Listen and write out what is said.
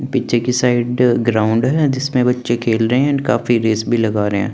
पीछे की side ground है जिसमें बच्चे खेल रहे हैं एंड काफी रेस भी लगा रहे हैं।